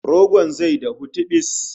Rogon zai dahu tibis!